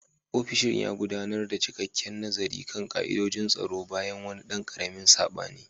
Ofishin ya gudanar da cikakken nazari kan ka'idojin tsaro bayan wani ɗan ƙaramin sabani.